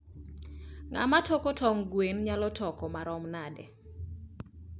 ngama toko tong gwen nyalo toko maromo nade?